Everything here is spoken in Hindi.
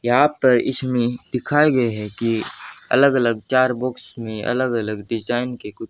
यहाँ पर इसमे दिखाये गये है कि अलग अलग चार बॉक्स में अलग अलग डिजाइन के कुछ--